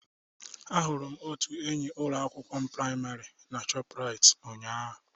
Ahụrụ m otu enyi ụlọ akwụkwọ praịmarị na shoprite ụnyaahụ